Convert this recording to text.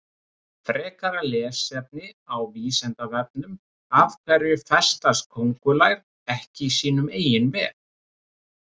Frekara lesefni á Vísindavefnum Af hverju festast köngulær ekki í sínum eigin vef?